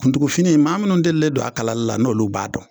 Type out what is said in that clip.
Kuntugufini maa minnu delilen don a kalali la n'olu b'a dɔn,